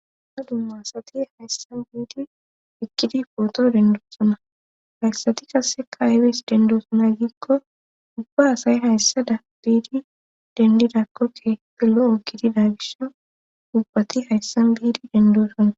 dumma dumma asati hayssa biidi iqidi pooto dendosona hayssati kasseka aybes dendoosona giikko ubba asay hayssada biidi dendidakon kehife loo o gidida gisha ubbati hayssan biidi dendoossona